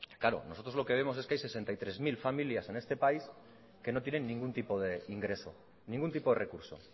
claro nosotros lo que vemos es que hay sesenta y tres mil familias en este país que no tienen ningún tipo de ingreso ningún tipo de recurso